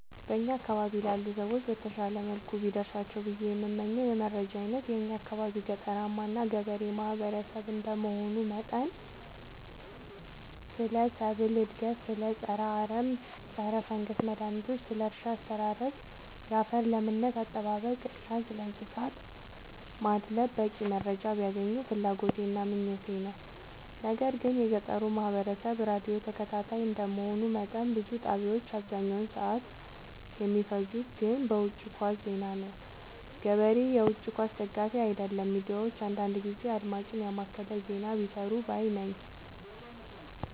በእኛ አካባቢ ላሉ ሰዎች በተሻለ መልኩ ቢደርሳቸው ብዬ የምመኘው የመረጃ አይነት የእኛ አካባቢ ገጠራማ እና ገበሬ ማህበሰብ እንደመሆኑ መጠን ስለ ሰብል እድገት ስለ ፀረ አረም ፀረፈንገስ መድሀኒቶች ስለ እርሻ አስተራረስ ያፈር ለምነት አጠባበቅ እና ስለእንሰሳት ማድለብ በቂ መረጃ ቢያገኙ ፍላጎቴ እና ምኞቴ ነው። ነገር ግን የገጠሩ ማህበረሰብ ራዲዮ ተከታታይ እንደ መሆኑ መጠን ብዙ ጣቢያዎች አብዛኛውን ሰዓት የሚፈጅት ግን በውጪ ኳስ ዜና ነው። ገበሬ የውጪ ኳስ ደጋፊ አይደለም ሚዲያዎች አንዳንዳንድ ጊዜ አድማጭን የማከለ ዜና ቢሰሩ ባይነኝ።